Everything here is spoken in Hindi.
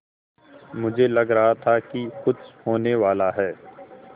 मुझे लग रहा था कि कुछ होनेवाला है